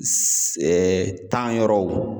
tan yɔrɔw